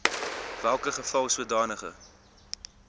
welke geval sodanige